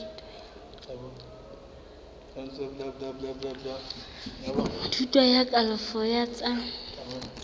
thuto ya kalafo ya tsa